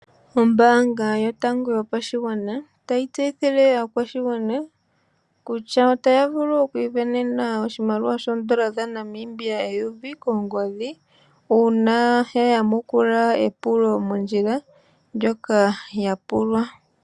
Ombaanga yotango yopashigwana otayi tseyithile aakwashigwana kutya otayi vulu oku isindanena oshimaliwa shoondola dha Namibia eyovi kongodhi uuna ya yamukula epulo mondjila ndjoka yapulwa.